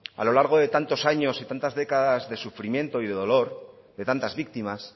a lo largo de tantos años y tantas décadas de sufrimiento y de dolor de tantas víctimas